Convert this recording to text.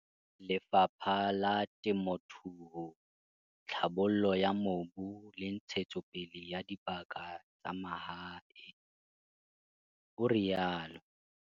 "Le fapha la Temothuo, Tlhabollo ya Mobu le Ntshetsopele ya Dibaka tsa Mahae," o rialo.